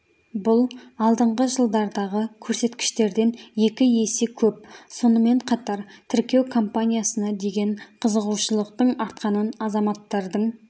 бұл алдыңғы жылдардағы көрсеткіштерден екі есе көп сонымен қатар тіркеу кампаниясына деген қызығушылықтың артқанын азаматтардың